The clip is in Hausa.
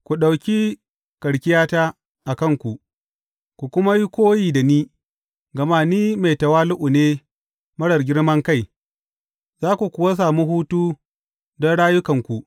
Ku ɗauki karkiyata a kanku, ku kuma yi koyi da ni, gama ni mai tawali’u ne marar girman kai, za ku kuwa sami hutu don rayukanku.